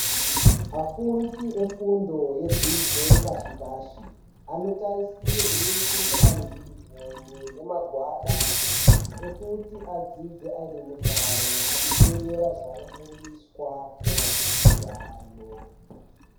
Afundi efundo yedzidzo yepashi pashi anotarisirwa kunge ane unifomu nemagwada ekuti adzidze ane mufaro achiterera zvanofundiswa nevadzidzisi vavo.